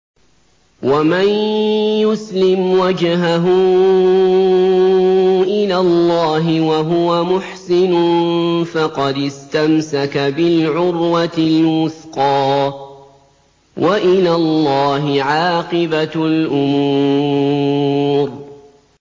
۞ وَمَن يُسْلِمْ وَجْهَهُ إِلَى اللَّهِ وَهُوَ مُحْسِنٌ فَقَدِ اسْتَمْسَكَ بِالْعُرْوَةِ الْوُثْقَىٰ ۗ وَإِلَى اللَّهِ عَاقِبَةُ الْأُمُورِ